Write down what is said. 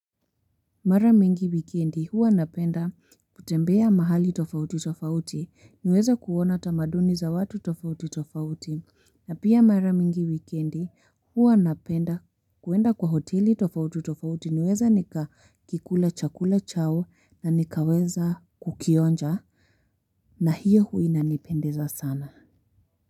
Mara mingi wikendi huwa napenda kutembea mahali tofauti tofauti niweze kuona tamaduni za watu tofauti tofauti na pia mara mingi wikendi huwa napenda kuenda kwa hoteli tofauti tofauti niweze nikakikula chakula chao na nikaweza kukionja na hiyo hua inanipendeza sana.